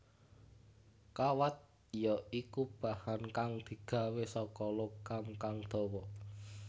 Kawat ya iku bahan kang digawé saka logam kang dawa